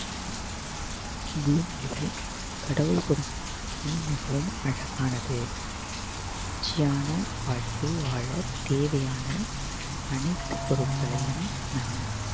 பூமியில் கடவுள் கொடுத்த வாழ்க்கை மிகவும் அழகானது மகிழ்ச்சியான வாழ்க்கை வாழ தேவையான அனைத்து பொருட்களையும் நம்